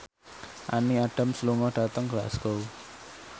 Amy Adams lunga dhateng Glasgow